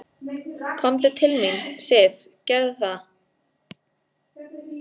Komdu til mín, Sif, gerðu það.